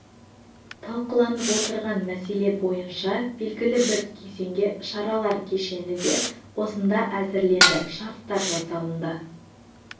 талқыланып отырған мәселе бойынша белгілі бір кезеңге шаралар кешені де осында әзірленді шарттар жасалынды